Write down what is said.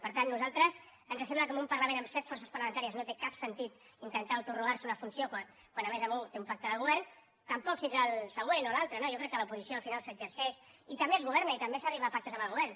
per tant a nosaltres ens sembla que en un parlament amb set forces parlamentàries no té cap sentit intentar autoatorgar se una funció quan a més un té un pacte de govern tampoc si ets el següent o l’altre no jo crec que l’oposició al final s’exerceix i també es governa i també s’arriba a pactes amb el govern